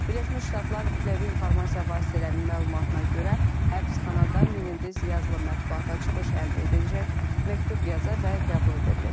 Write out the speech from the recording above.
Birləşmiş Ştatlar Kütləvi İnformasiya Vasitələrinin məlumatına görə həbsxanada Menendez yazılı mətbuata çıxış əldə edəcək, məktub yaza və qəbul edə biləcək.